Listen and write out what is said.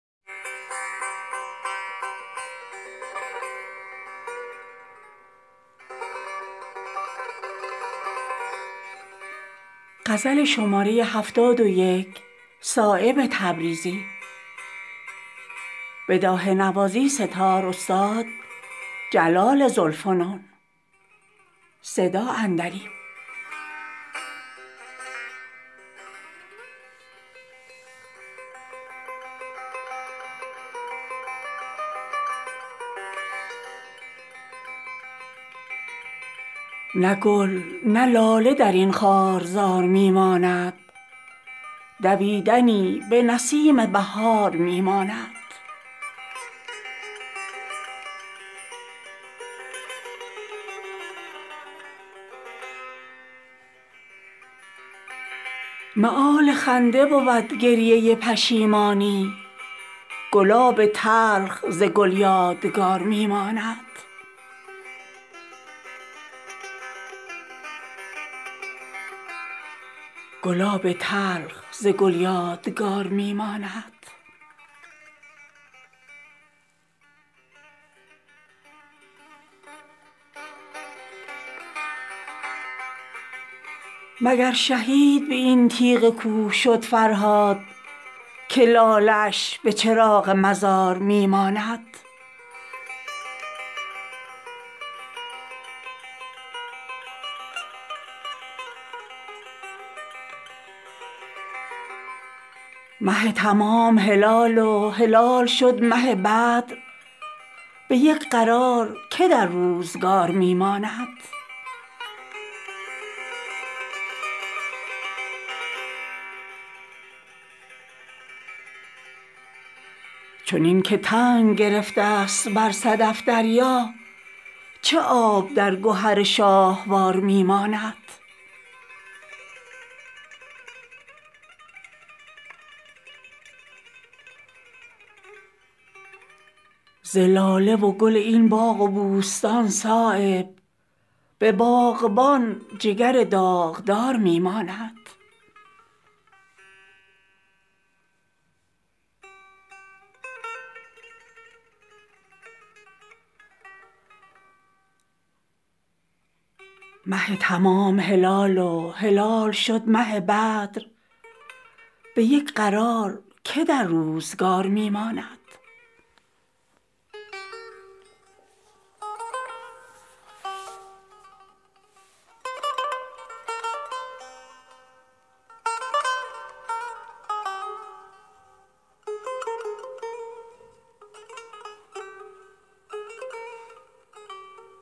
نه گل نه لاله درین خارزار می ماند دویدنی به نسیم بهار می ماند مآل خنده بودگریه پشیمانی گلاب تلخ ز گل یادگار می ماند بساط خاک بودراه وخلق نقش قدم کدام نقش قدم پایدار می ماند به عشق کن دل خود زنده کز نسیم اجل چراغ زنده دلی برقرار میماند چنین که تنگ گرفته است بر صدف دریا چه آب در گهر شاهوار می ماند بریز برگ وبکش بار کز خزان برجا درین حدیقه همین برگ وبار می ماند مگر شهید به این تیغ کوه شد فرهاد که لاله اش به چراغ مزار می ماند غبار خط تو تابسته است در دل نقش دلم به مصحف خط غبار می ماند مه تمام هلال وهلال شد مه بدر به یک قرار که در روزگار می ماند زلاله وگل این باغ وبوستان صایب به باغبان جگر داغدار می ماند